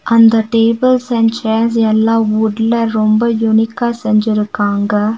அந்த tables and chairs எல்லா வுட்ல ரொம்ப யூனிக்கா செஞ்சிருக்காங்க.